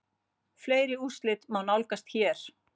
Fleiri úrslit má nálgast hér